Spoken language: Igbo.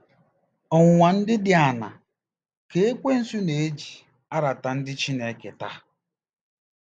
Ọnwụnwa ndị dị aṅaa ka Ekwensu na-eji arata ndị Chineke taa?